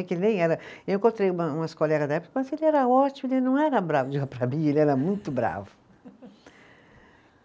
Que nem era, eu encontrei uma umas colegas da época, mas ele era ótimo, ele não era bravo, para mim, ele era muito bravo.